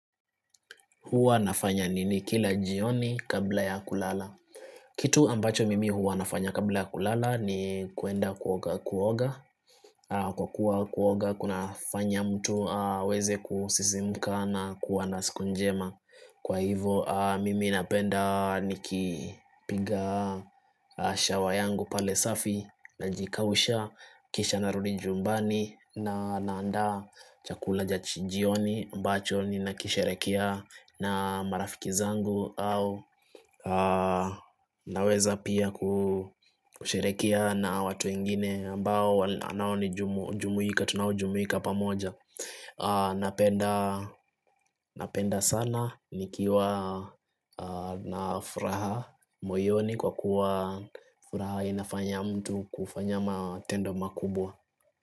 Huwa nafanya nini kila jioni kabla ya kulala? Kitu ambacho mimi huwa nafanya kabla ya kulala ni kuenda kuoga kuoga Kwa kuwa kuoga kuna fanya mtu weze kusisimuka na kua na siku njema Kwa hivo mimi napenda nikipiga shawa yangu pale safi Najikausha kisha narudi jumbani na naanda chakula cha jioni ambacho ninakisherekea na marafiki zangu au naweza pia kusherekea na watu wengine ambao anawani jumuika tunaojumuika pamoja Napenda sana nikiwa na furaha moyoni kwa kuwa furaha inafanya mtu kufanya matendo makubwa.